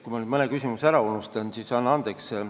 Kui ma nüüd mõne küsimuse ära unustan, siis anna andeks.